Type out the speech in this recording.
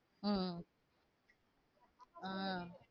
உம் ஆஹ்